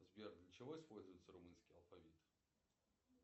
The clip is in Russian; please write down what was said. сбер для чего используется румынский алфавит